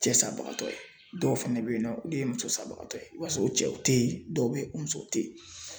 Cɛsabagatɔ ye dɔw fɛnɛ be yen nɔ olu ye musosabagatɔ ye i b'a sɔrɔ o cɛw te ye dɔw be yen o musow te yen